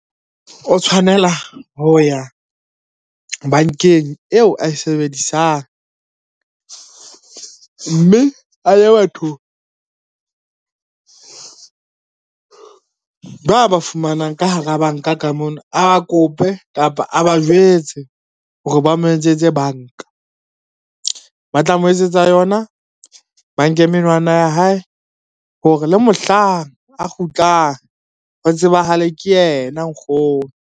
O tshwanela ho ya bankeng eo a e sebedisang, mme a ye batho ba ba fumanang ka hara banka ka mono, a kope kapa a ba jwetse hore ba mo etsetse banka. Ba tla mo etsetsa yona, ba nke menwana ya hae hore le mohlang a kgutlang ho tsebahale ke yena nkgono.